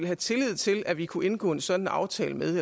have tillid til at vi kunne indgå en sådan aftale med